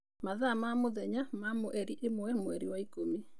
Mathaa ma mũthenya wa mweri ĩmwe mwerĩ wa ĩkũmi.